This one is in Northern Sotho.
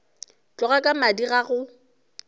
tloga ka madi ga go